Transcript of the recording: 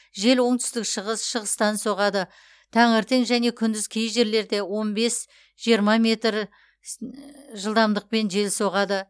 жел оңтүстік шығыс шығыстан соғады таңертең және күндіз кей жерлерде он бес жиырма метр с ыы жылдамдықпен жел соғады